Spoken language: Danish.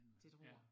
Det tror jeg